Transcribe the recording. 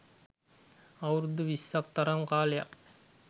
අවුරුදු විස්සක් තරම් කාලයක්